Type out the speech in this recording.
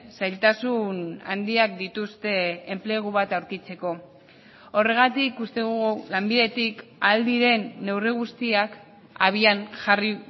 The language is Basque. zailtasun handiak dituzte enplegu bat aurkitzeko horregatik uste dugu lanbidetik ahal diren neurri guztiak abian jarri